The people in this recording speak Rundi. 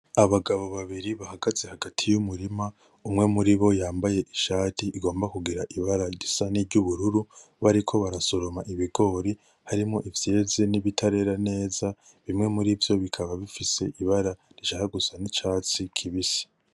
Abagabo babiri bahagaze hagati y'umurima umwe muribo yambaye ishati igomba kugira ibara risa niry'ubururu, bariko barasoroma ibigori harimwo ivyeze nibitarera neza, bimwe murivyo bikaba bifise ibara rishaka gusa ni catsi kibisi.